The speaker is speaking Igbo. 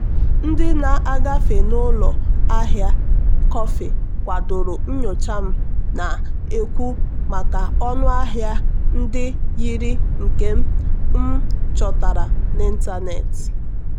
ndị na-agafe n'ụlọ ahịa kọfị kwadoro nyocha m na-ekwu maka ọnụ ahịa ndị yiri nke m um chọtara n'ịntanetị.